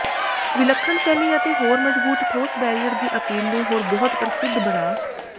ਵਿਲੱਖਣ ਸ਼ੈਲੀ ਅਤੇ ਹੋਰ ਮਜਬੂਤ ਠੋਸ ਬੈਰੀਅਰ ਦੀ ਅਪੀਲ ਨੂੰ ਹੋਰ ਬਹੁਤ ਪ੍ਰਸਿੱਧ ਬਣਾ